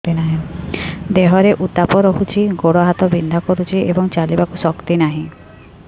ଦେହରେ ଉତାପ ରହୁଛି ଗୋଡ଼ ହାତ ବିନ୍ଧା କରୁଛି ଏବଂ ଚାଲିବାକୁ ଶକ୍ତି ନାହିଁ